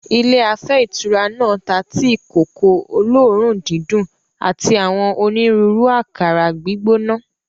Ilé afẹ́ ìtura náà ta tíì-kòkó olóòórùn-dídùn àti àwọn onírúurú àkàrà gbígbóná.